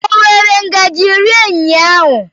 O were ngaji rie ụnyaahụ?